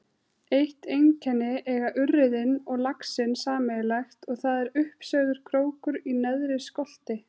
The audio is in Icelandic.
Eitt einkenni eiga urriðinn og laxinn sameiginlegt og það er uppsveigður krókur í neðri skolti.